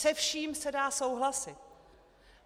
Se vším se dá souhlasit.